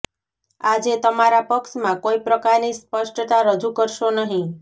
આજે તમારા પક્ષમાં કોઈ પ્રકારની સ્પષ્ટતા રજૂ કરશો નહીં